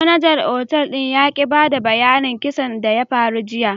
Manajar otal ya ki bada bayyanin kissan da ya faru jiya.